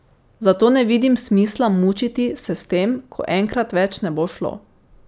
Zato ne vidim smisla mučiti se s tem, ko enkrat več ne bo šlo.